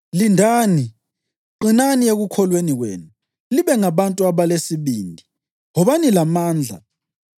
Lindani; qinani ekukholweni kwenu; libe ngabantu abalesibindi, wobani lamandla.